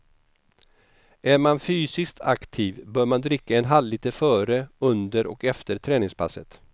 Är man fysiskt aktiv bör man dricka en halvliter före, under och efter träningspasset.